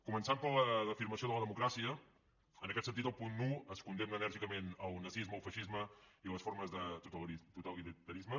començant per l’afirmació de la democràcia en aquest sentit al punt un es condemna enèrgicament el nazisme el feixisme i les formes de totalitarisme